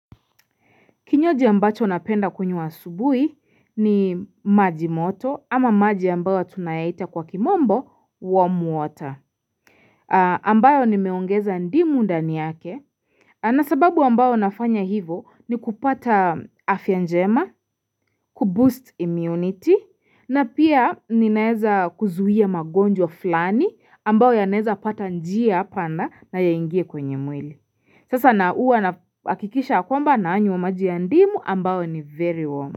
Kinywaji ambacho napenda kunywa asubuhi ni maji moto ama maji ambayo tunayaita kwa kimombo warm water. Ambayo nimeongeza ndimu ndani yake. Na sababu ambayo nafanya hivo ni kupata afya njema, kuboost immunity na pia ninaeza kuzuia magonjwa fulani ambayo yanaeza pata njia panda na yaingie kwenye mwili. Sasa na huwa nahakikisha kwamba nayanywa maji ya ndimu ambayo ni very warm.